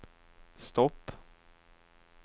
stopp